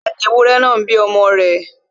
Bẹ́ẹ̀ni, ewúrẹ náà ń bí ọmọ rẹ̀